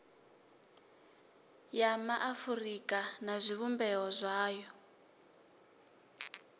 ya maafurika na zwivhumbeo zwayo